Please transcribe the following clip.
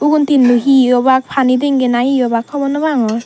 ugun thinnu he obak pani tanki na he obak hobor noh pangor.